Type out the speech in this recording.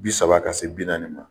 Bi saba ka se bi naani ma.